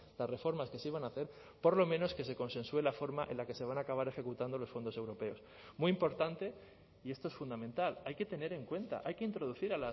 las reformas que se iban a hacer por lo menos que se consensue la forma en la que se van a acabar ejecutando los fondos europeos muy importante y esto es fundamental hay que tener en cuenta hay que introducir